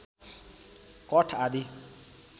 कठ आदि